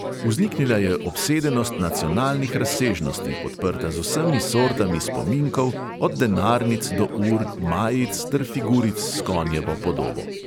Vzniknila je obsedenost nacionalnih razsežnosti, podprta z vsemi sortami spominkov, od denarnic do ur, majic ter figuric s konjevo podobo.